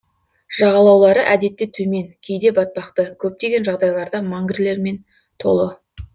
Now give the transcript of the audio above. жағалаулары әдетте төмен кейде батпақты көптеген жағдайларда мангрлермен толы